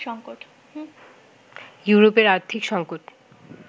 ইউরোপের আর্থিক সংকট